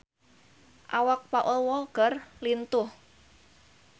Awak Paul Walker lintuh